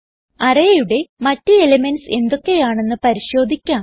arrayയുടെ മറ്റ് എലിമെന്റ്സ് എന്തൊക്കെയാണെന്ന് പരിശോധിക്കാം